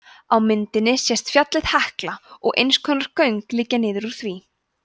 á myndinni sést fjallið hekla og eins konar göng liggja niður úr því